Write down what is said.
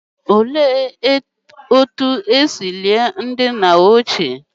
Olee otú e si lie ndị nna ochie ememe olili ozu n'oge ochie?